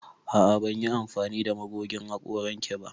A'a ban yi amfani da magogin hakoran ki ba.